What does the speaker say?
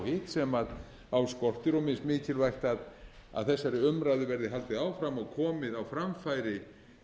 hitt sem á skortir og mismikilvægt að þessari umræðu verði haldið áfram og komið á framfæri